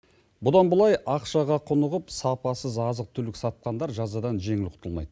бұдан былай ақшаға құнығып сапасыз азық түлік сатқандар жазадан жеңіл құтылмайды